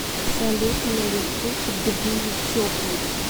салют на ютуб тбили теплый